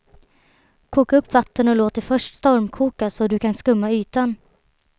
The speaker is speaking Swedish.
Koka upp vatten och låt det först stormkoka så du kan skumma ytan.